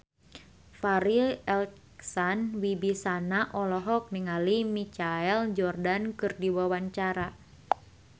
Farri Icksan Wibisana olohok ningali Michael Jordan keur diwawancara